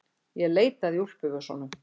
Ég leitaði í úlpuvösunum.